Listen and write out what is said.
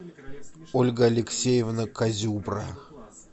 ольга алексеевна козюбра